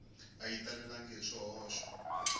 a xi talelangi hi swihoxo